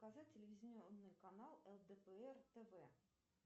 показать телевизионный канал лдпр тв